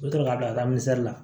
U bɛ sɔrɔ k'a bila la